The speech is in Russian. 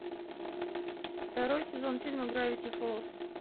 второй сезон фильма гравити фолз